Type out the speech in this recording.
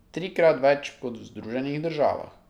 Trikrat več kot v Združenih državah.